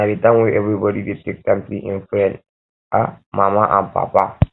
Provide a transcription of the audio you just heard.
na de time wey everybody dey take see im friend um mama and um papa